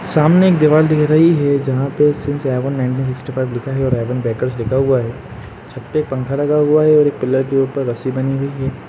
सामने एक दीवाल दिख रही है जहाँं पे since Avon nineteen sixty five लिखा है और एवन बेकर्स लिखा हुआ है। छत पे पंखा लगा हुआ है और एक पिलर के ऊपर रस्सी बंधी हुई है।